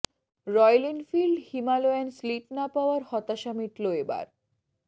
royal Enfield Himalayan স্লিট না পাওয়ার হতাশা মিটল এ বার